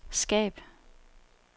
skab